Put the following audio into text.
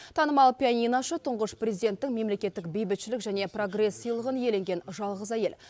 танымал пионинашы тұңғыш президенттің мемлекеттік бейбітшілік және прогресс сыйлығын иеленген жалғыз әйел